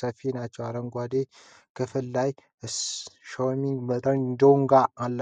ሰፊ ናቸው። አረንጓዴው ክፍል ላይ "SCHWING S36 X" እና "SCHWING Concrete Pump" የሚሉ ጽሑፎች ይታያሉ።